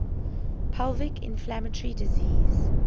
pelvic inflammatory disease